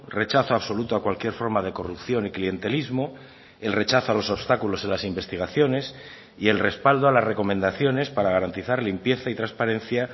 rechazo absoluto a cualquier forma de corrupción y clientelismo el rechazo a los obstáculos en las investigaciones y el respaldo a las recomendaciones para garantizar limpieza y transparencia